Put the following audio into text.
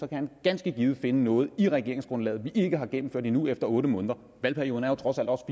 kan han ganske givet finde noget i regeringsgrundlaget som vi ikke har gennemført endnu efter otte måneder valgperioden er jo trods alt også